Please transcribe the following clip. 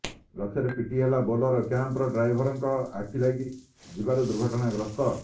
ଗଛରେ ପିଟି ହେଲା ବୋଲେରୋ କ୍ୟାମ୍ପର ଡ୍ରାଇଭରଙ୍କ ଆଖି ଲାଗି ଯିବାରୁ ଦୁର୍ଘଟଣାଗ୍ରସ୍ତ